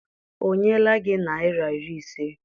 O nyela gi naira iri ise?